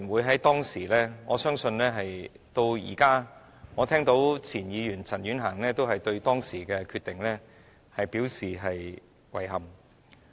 在當時，而我相信直到現在，我也聽到工聯會和前議員陳婉嫻對當時的決定表示遺憾。